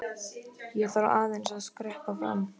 Ég þarf aðeins að skreppa fram.